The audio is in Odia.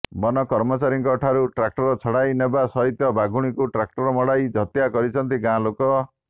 ବନ କର୍ମଚାରୀଙ୍କ ଠାରୁ ଟ୍ରାକ୍ଟର ଛଡ଼ାଇ ନେବା ସହିତ ବାଘୁଣୀକୁ ଟ୍ରାକ୍ଟର ମଡ଼ାଇ ହତ୍ୟା କରିଛନ୍ତି ଗାଁ ଲୋକେ